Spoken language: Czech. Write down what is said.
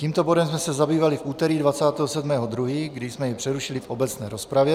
Tímto bodem jsme se zabývali v úterý 27. 2., kdy jsme jej přerušili v obecné rozpravě.